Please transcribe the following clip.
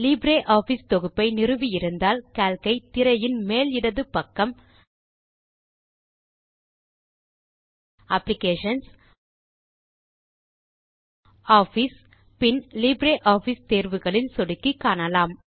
LibreOffice தொகுப்பை நிறுவி இருந்தால் கால்க் ஐ திரையின் மேல் இடது பக்கம் அப்ளிகேஷன்ஸ் ஆஃபிஸ் பின் லிப்ரியாஃபிஸ் தேர்வுகளில் சொடுக்கி காணலாம்